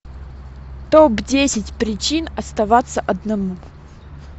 топ десять причин оставаться одному